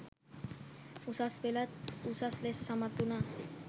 උසස් පෙළත් උසස් ලෙස සමත් වුණා.